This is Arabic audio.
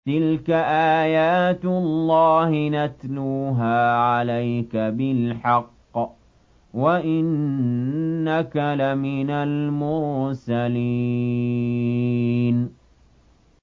تِلْكَ آيَاتُ اللَّهِ نَتْلُوهَا عَلَيْكَ بِالْحَقِّ ۚ وَإِنَّكَ لَمِنَ الْمُرْسَلِينَ